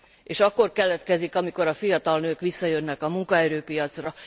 És akkor keletkezik, amikor a fiatal nők visszajönnek a munkaerőpiacra.